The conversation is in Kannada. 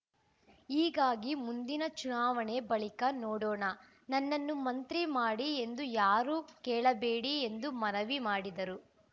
ಹೀಗಾಗಿ ಮುಂದಿನ ಚುನಾವಣೆ ಬಳಿಕ ನೋಡೋಣ ನನ್ನನ್ನು ಮಂತ್ರಿ ಮಾಡಿ ಎಂದು ಯಾರೂ ಕೇಳಬೇಡಿ ಎಂದು ಮನವಿ ಮಾಡಿದರು